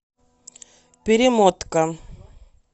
перемотка